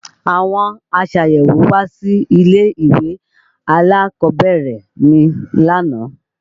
Àwọn aṣàyẹ̀wò wá sí ilé-ìwé alákọ̀ọ́bẹ̀rẹ̀ mi lánàá